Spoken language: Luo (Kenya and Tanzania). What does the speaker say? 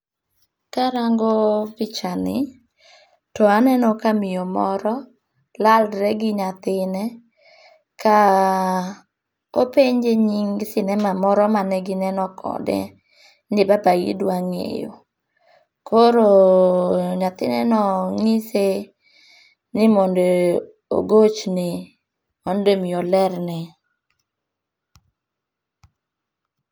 Karango pichani , to aneno ka miyo moro lalre gi nyathine. Ka openje nying sinema moro mane gineno kode ni babagi dwa ng'eyo. Koro nyathineno nyise ni mondo ogochne mondo mi olerne.